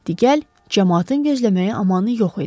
Digər camaatın gözləməyə amanı yox idi.